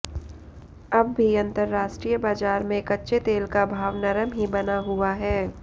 अब भी अंतरराष्ट्रीय बाजार में कच्चे तेल का भाव नरम ही बना हुआ है